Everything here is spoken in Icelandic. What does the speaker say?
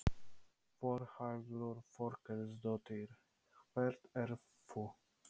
Þórhildur Þorkelsdóttir: Hver ert þú?